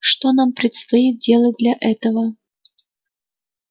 что нам предстоит делать для этого